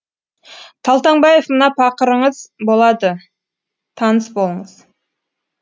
талтаңбаев мына пақырыңыз болады таныс болыңыз